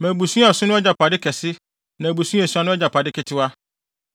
Ma abusua a ɛso no agyapade kɛse na abusua a esua no agyapade ketewa.